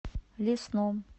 лесном